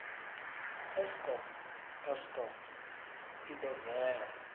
eskom eskom i ḓo bvela